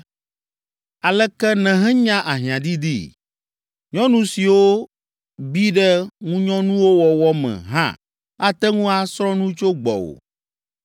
Aleke nèhenya ahiãdidii! Nyɔnu siwo bi ɖe ŋunyɔnuwo wɔwɔ me hã ate ŋu asrɔ̃ nu tso gbɔwò.